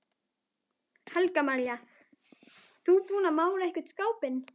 Helga María: Þú búinn að mála einhvern skápinn?